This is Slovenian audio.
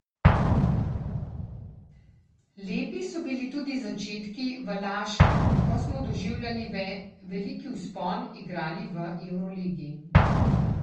Lepi so bili tudi začetki v Laškem, ko smo doživljali veliki vzpon, igrali v evroligi.